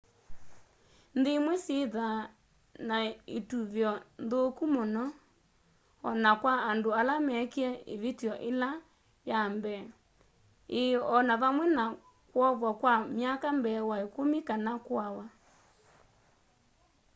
nthĩ ĩmwe syĩthaa na ĩtũvĩo nthũkũ mũno ona kwa andũ ala mekĩe ĩvĩtyo ĩla yambee ĩĩ no vamwe na kwovwa kwa myaka mbee wa ĩkũmĩ kana kũawa